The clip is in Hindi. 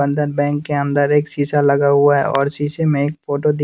बंधन बैंक के अंदर एक शीशा लगा हुआ है और शीशे में एक फोटो दिख --